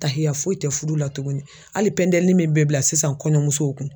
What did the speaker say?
Tahiya foyi tɛ fudu la tuguni hali pɛntɛlini min bɛ bila sisan kɔɲɔmusow kun.